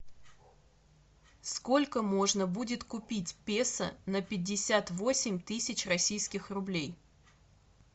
сколько можно будет купить песо на пятьдесят восемь тысяч российских рублей